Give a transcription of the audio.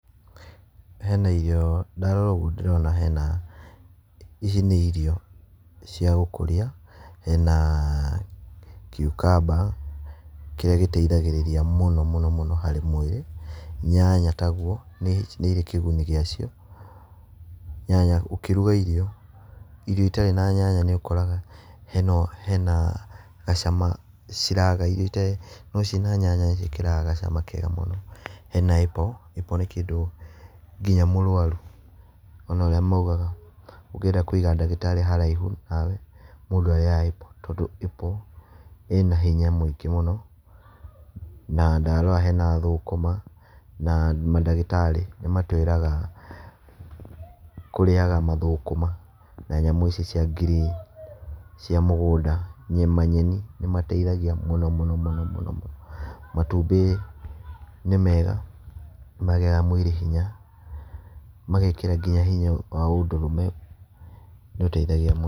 He na irio ndarora ũguo ndĩrona hena ici ni irio cia ũkũria, hena cucumber kĩrĩa gĩteithagĩrĩria mũno mũno harĩ mwĩrĩ. Nyanya taguo, nĩirĩ kĩguni gĩacio, ũkĩruga irio, irio itarĩ na nyanya, nĩũkoraga hena gacama ciraga.No cirĩ na nyanya nĩ ciĩkĩraga gacama kega mũno. Hena Apple, apple nĩ kĩndũ nginya mũrwaru ,ona urĩa maugaga, ũngĩeda Kũiga dagĩtarĩ haraihu nawe, mũndũ arĩaga Apple tondũ apple ĩna hinya mũingi mũno. Matũmbĩ nĩ mega nĩmaheaga mũndũ hinya ,magekĩra nginya hinya wa ũndũrũme.